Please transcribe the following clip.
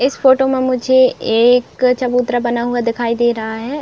इस फोटो मे मुझे एक चबूतरा बना हुआ दिखाई दे रहा है।